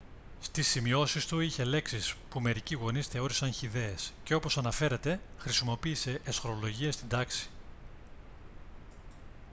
στις σημειώσεις του είχε λέξεις που μερικοί γονείς θεώρησαν χυδαίες και όπως αναφέρεται χρησιμοποίησε αισχρολογίες στην τάξη